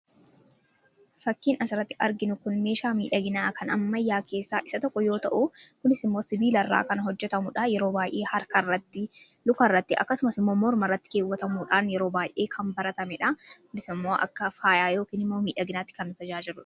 fakkiin asi iratti arginu kun meeshaa miidhaginaa kan ammayaa keessaa isa tokko yoo ta'u. kunis immoo sibiila irraa kan hojjetamuudha. Yeroo baay'ee harkarratti luka irratti akkasumas imoo morma irratti keewwatamuudhaan. Yeroo baay'ee kan baratame dha. Kunis immoo akka faayaa yookiin immoo miidhaginaatti kan nu tajaajiludha.